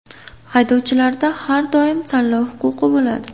Haydovchilarda har doim tanlov huquqi bo‘ladi.